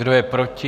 Kdo je proti?